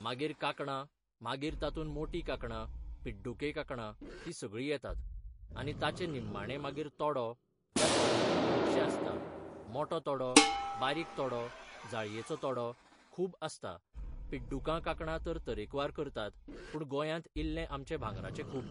मागीर कांकणां मागीर तातूंत मोटीं कांकणां पिड्डुके कांकणां तीं सगळीं येतात आनी ताचे निम्माणें मागीर तोडो त्या तोड्यांतूय खुबशें आसता मोटो तोडो बारीक तोडो जाळयेचो तोडो खूब आसता पिड्डुकां कांकणां तर तरेकवार करतात पूण गोंयांत इल्लें आमचें भांगराचें खूब